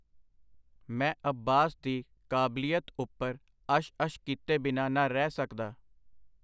ਮੈਂ ਅੱਬਾਸ ਦੀ ਕਾਬਲੀਅਤ ਉਪਰ ਅਸ਼-ਅਸ਼ ਕੀਤੇ ਬਿਨਾਂ ਨਾ ਰਹਿ ਸਕਦਾ.